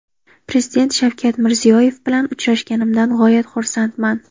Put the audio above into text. Prezident Shavkat Mirziyoyev bilan uchrashganimdan g‘oyat xursandman.